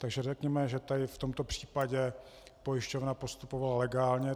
Takže řekněme, že tady v tomto případě pojišťovna postupovala legálně.